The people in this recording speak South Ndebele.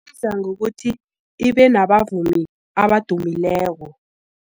Isiza ngokuthi ibe nabavumi abadumileko.